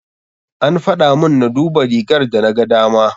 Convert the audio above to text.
An faɗamun na duba rigar da na gadama.